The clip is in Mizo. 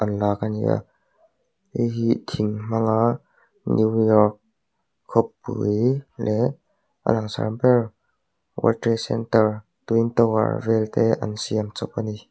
an lak ani a hei hi thing hmang a new york khawpui leh a langsar ber centre twin tower an siam chawp ani.